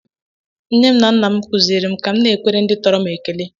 Nne m na nna m kụziiri m ka m na-ekwere ndị tọrọ m ekele